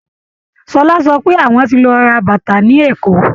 Ṣọlá sọ pé àwọn ti lọ ra bàtà ní Èkó